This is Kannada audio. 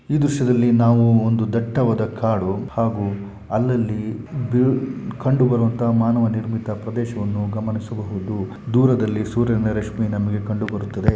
ಈ ದೃಶ್ಯದಲ್ಲಿ ನಾವು ಒಂದು ದಟ್ಟವಾದ ಕಾಡು ಹಾಗು ಅಲ್ಲಲ್ಲಿ ಬು-ಕಂಡು ಬರುವಂತ ಮಾನವ ನಿರ್ಮಿತ ಪ್ರದೇಶವನ್ನು ಗಮನಿಸಬಹುದು. ದೂರದಲ್ಲಿ ಸೂರ್ಯನ ರಶ್ಮಿ ನಮಗೆ ಕಂಡು ಬರುತ್ತದೆ.